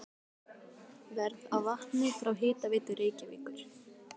Verð á vatni frá Hitaveitu Reykjavíkur